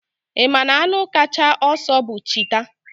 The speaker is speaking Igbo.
Ị ma na anụ kacha ọsọ bụ Chita?